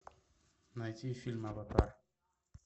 найти фильм аватар